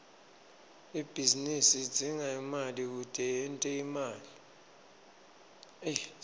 ibhizinisi idzinga imali kute yente imali